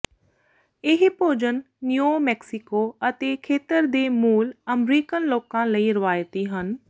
ਇਹ ਭੋਜਨ New Mexico ਅਤੇ ਖੇਤਰ ਦੇ ਮੂਲ ਅਮਰੀਕਨ ਲੋਕਾਂ ਲਈ ਰਵਾਇਤੀ ਹਨ